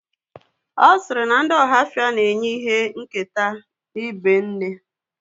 Ọ̀ sịrị na ndị ohafia na-enye ìhè nketa n'ibé nne